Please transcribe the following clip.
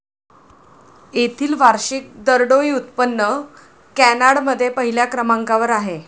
येथील वार्षिक दरडोई उत्पन्न कॅनाडमध्ये पहिल्या क्रमांकावर आहे.